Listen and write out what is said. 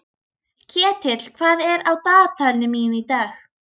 Ketill, hvað er á dagatalinu mínu í dag?